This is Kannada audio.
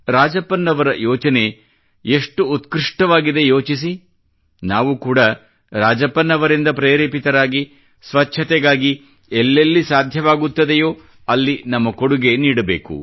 ರಾಜಪ್ಪನ್ ಅವರ ಯೋಚನೆ ಎಷ್ಟು ಉತ್ಕೃಷ್ಠವಾಗಿದೆ ಯೋಚಿಸಿ ನಾವು ಕೂಡಾ ರಾಜಪ್ಪನ್ ಅವರಿಂದ ಪ್ರೇರೇಪಿತರಾಗಿ ಸ್ವಚ್ಛತೆಗಾಗಿ ಎಲ್ಲೆಲ್ಲಿ ಸಾಧ್ಯವಾಗುತ್ತದೆಯೋ ಅಲ್ಲಿ ನಮ್ಮ ಕೊಡುಗೆ ನೀಡಬೇಕು